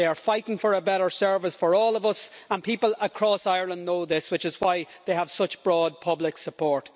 They are fighting for a better service for all of us and people across Ireland know this, which is why they have such broad public support.